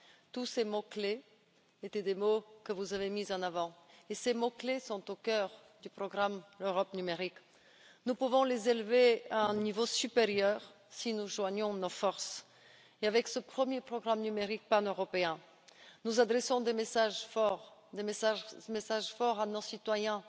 tous ces mots clés étaient des mots que vous avez mis en avant et ils sont au cœur du programme Europe numérique. Nous pouvons les élever à un niveau supérieur si nous joignons nos forces, et, avec ce premier programme numérique paneuropéen, nous adressons des messages forts à nos citoyens